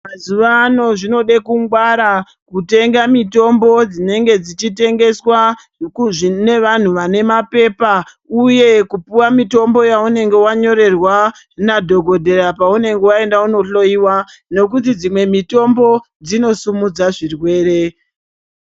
Mazuva ano zvinodekungwara kutenga mitombo dzinenge dzichitengeswa nevanhu vanemapepa uye kupuwe mutombo yaunenge wanyorerwa nadhokodheya paunenge waenda kunohloyiwa ngekuti dzimwe mitombo dzinosimudza zvirwere.